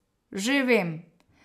Že vem.